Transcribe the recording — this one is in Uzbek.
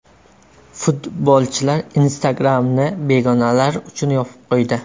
Futbolchilar Instagram’ni begonalar uchun yopib qo‘ydi.